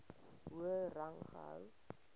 hoër rang gehou